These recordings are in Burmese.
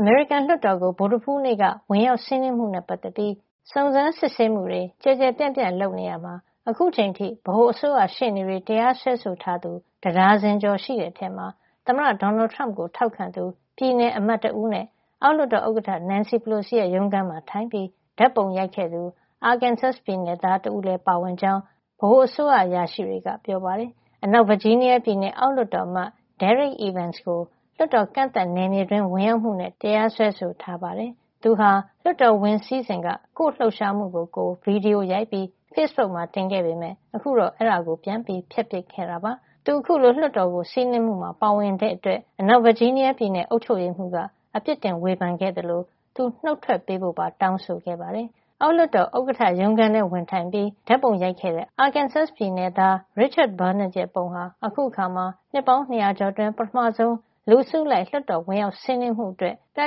အမေရိကန်လွှတ်တော်ကို ဗုဒ္ဓဟူးနေ့က ဝင်ရောက်စီးနင်းမှုနဲ့ ပတ်သက်ပြီး စုံစမ်းစစ်ဆေးမှုတွေ ကျယ်ကျယ်ပြန့်ပြန့် လုပ်နေရာမှာ အခုချိန်အထိ ဗဟိုအစိုးရရှေ့နေတွေ တရားစွဲဆိုထားသူ တဒါဇင်ကျော်ရှိတဲ့အထဲမှာ သမ္မတ Donald Trump ကို ထောက်ခံသူ ပြည်နယ်အမတ်တဦးနဲ့ အောက်လွှတ်တော် ဥက္ကဋ္ဌ Nancy Pelosi ရုံးခန်းမှာထိုင်ပြီး ဓာတ်ပုံရိုက်ခဲ့သူ Arkansas ပြည်နယ်သား တဦးတို့လည်း ပါဝင်ကြောင်း ဗဟိုအစိုးရ အရာရှိတွေက ပြောပါတယ်။ အနောက်ဗာဂျီးနီးယားပြည်နယ် အောက်လွှတ်တော်အမတ် Derrick Evans ကို လွှတ်တော် ကန့်သတ်နယ်မြေတွင်း ဝင်ရောက်မှုနဲ့ တရားစွဲဆိုထားပါတယ်။ သူဟာ လွှတ်တော်ဝင်စီးစဉ်က ကိုယ့်လှုပ်ရှားမှုကိုကိုယ် ဗွီဒီယိုရိုက်ပြီး ဖေ့စ်ဘုတ်မှာ တင်ခဲ့ပေမယ့် ခုတော့ အဲဒါကို ပြန်ဖျက်ပစ်ခဲ့တာပါ။ သူ အခုလို လွှတ်တော်ကို စီးနင်းမှုမှာ ပါဝင်တဲ့အတွက် အနောက်ဗာဂျီးနီးယားပြည်နယ် အုပ်ချုပ်ရေးမှူးက အပြစ်တင် ဝေဖန်ခဲ့သလို သူနုတ်ထွက်ပေးဖို့ပါ တောင်းဆိုခဲ့ပါတယ်။ အောက်လွှတ်တော်ဥက္ကဋ္ဌ ရုံးခန်းထဲ ဝင်ထိုင်ပြီး အခန့်သား ဓာတ်ပုံရိုက်ခဲ့တဲ့ Arkansas နယ်သား Richard Barnett ရဲ့ပုံဟာ အခုအခါမှာ နှစ်ပေါင်း ၂၀၀ ကျော်အတွင်း ပထမဆုံး လူအစုလိုက် လွှတ်တော်ဝင်ရောက်စီးနင်းမှုအတွက် ပြ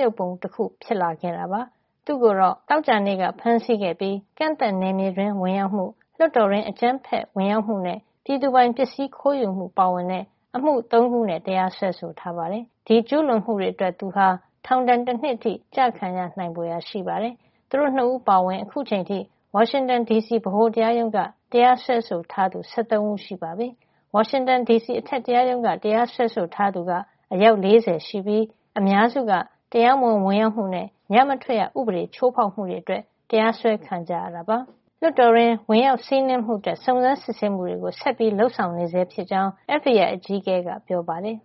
ယုဂ်ပုံတခု ဖြစ်ခဲ့တာပါ။ သူ့ကိုတော့ Arkansas ပြည်နယ် Little Rock မှာ သောကြာနေ့က ဖမ်းဆီးခဲ့ပြီး ကန့်သတ်နယ်မြေတွင်း ဝင်ရောက်မှု၊ လွှတ်တော်တွင်း အကြမ်းဖက်ဝင်ရောက်မှုနဲ့ ပြည်သူပိုင်ပစ္စည်း ခိုးယူမှု ပါဝင်တဲ့ အမှု ၃ ခုနဲ့ တရားစွဲဆိုထားပါတယ်။ ဒီကျူးလွန်မှုတွေအတွက် သူဟာ ထောင်ဒဏ် တနှစ်အထိ ကျခံရနိုင်ဖွယ်ရာ ရှိပါတယ်။ သူတို့ ၂ ဦး အပါအဝင် အခုချိန်အထိ ဝါရှင်တန်ဒီစီ ဗဟိုတရားရုံးက တရားစွဲဆိုထားသူ ၁၃ ဦးရှိပြီဖြစ်ပါတယ်။ ဝါရှင်တန်ဒီစီ အထက်တရားရုံးက တရားစွဲဆိုထားသူက အယောက် ၄၀ ရှိပြီး အများစုက တရားမဝင် ဝင်ရောက်မှုနဲ့ ညမထွက်ရဥပဒေ ချိုးဖောက်မှုတွေနဲ့ တရားစွဲခံရတာ ဖြစ်ပါတယ်။ လွှတ်တော်တွင်း စီးနင်းဝင်ရောက်မှုအတွက် စုံစမ်းစစ်ဆေးမှုတွေ ဆက်လက်လုပ်ဆောင်နေဆဲဖြစ်ကြောင်း FBI အကြီးအကဲ Christopher Wray က ပြောပါတယ်။